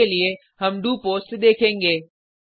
अभी के लिए हम डोपोस्ट देखेंगे